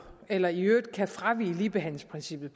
eller i øvrigt kan fravige ligebehandlingsprincippet